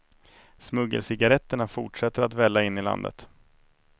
Smuggelcigaretterna fortsätter att välla in i landet.